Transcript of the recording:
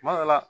Kuma dɔ la